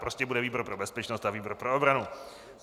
Prostě bude výbor pro bezpečnost a výbor pro obranu.